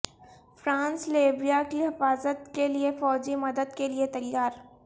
France Libya کی حفاظت کیلئے فوجی مدد کیلئے تیار